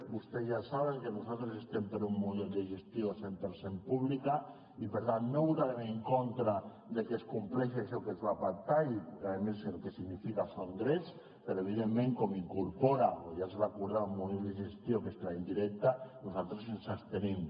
vostès ja saben que nosaltres estem per un model de gestió cent per cent públic i per tant no votarem en contra de que es compleixi això que es va pactar i a més el que significa són drets però evidentment com incorpora o ja es va acordar un model de gestió que és l’indirecte nosaltres ens abstenim